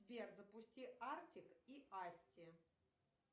сбер запусти артик и асти